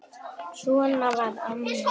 Svona var Amma í Ljós.